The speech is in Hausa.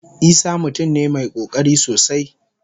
Isah mutum ne mai kokari sosai.